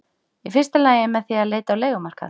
Í fyrsta lagi með því að leita á leigumarkað.